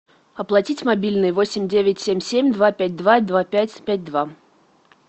оплатить мобильный восемь девять семь семь два пять два два пять пять два